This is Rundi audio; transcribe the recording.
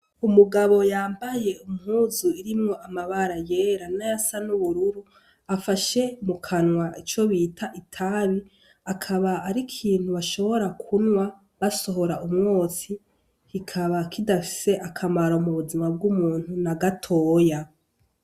Umugabo yambaye impuzu irimwo amabara yera n'ayasa n'ubururu, afashe mu kanwa ico bita itabi, akaba ari ikintu bishobora kunwa basohora umwotsi, kikaba kidafise akamaro mu buzima bw'umuntu na gatoya.